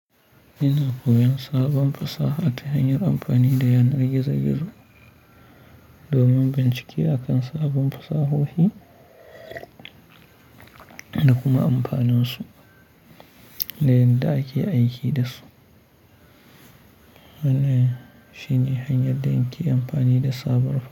Ina koyon sabon fasaha ta hanyar amfani da yanar gizo-gizo domin bincike a kan sabon fasahohi da kuma amfaninsu da yadda ake aiki da su. Wannan shine hanyar da nike amfani da sabon.